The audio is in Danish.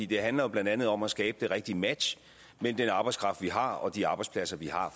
det handler jo blandt andet om at skabe det rigtige match mellem den arbejdskraft vi har og de arbejdspladser vi har